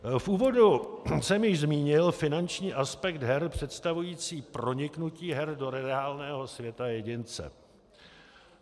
V úvodu jsem již zmínil finanční aspekt her představující proniknutí her do reálného světa jedince.